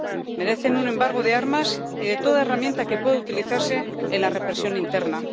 Merecen un embargo de armas y de toda herramienta que pueda utilizarse en la represión interna.